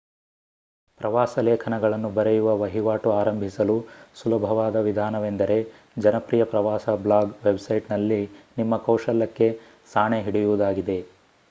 ಪ್ರವಾಸ ಲೇಖನಗಳನ್ನು ಬರೆಯುವ ವಹಿವಾಟು ಆರಂಭಿಸಲು ಸುಲಭವಾದ ವಿಧಾನವೆಂದರೆ ಜನಪ್ರಿಯ ಪ್ರವಾಸ ಬ್ಲಾಗ್ ವೆಬ್‌ಸೈಟ್‌ನಲ್ಲಿ ನಿಮ್ಮ ಕೌಶಲಕ್ಕೆ ಸಾಣೆ ಹಿಡಿಯುವುದಾಗಿದೆ